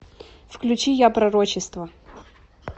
включи я пророчество